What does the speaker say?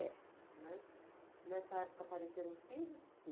É. Nessa época apareceram os filhos?